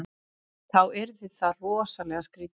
Þá yrði það rosalega skrítið.